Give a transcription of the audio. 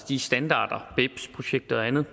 de standarder bebs projekter og andet